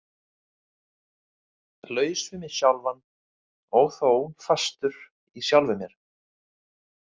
Laus við mig sjálfan og þó fastur í sjálfum mér.